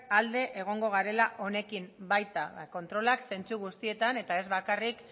alde egongo garela honekin baita kontrolak zentzu guztietan eta ez bakarrik